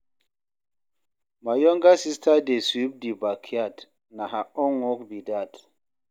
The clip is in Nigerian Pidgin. My younger sista dey sweep di backyard, na her own work be dat.